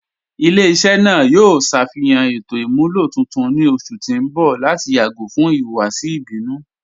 Ilẹ̀-iṣẹ naa yoo ṣafihan ètò imúlọ tuntun ni ọṣù ti n bọ̀ lati yagọ̀ fún ihuwasi ibinu.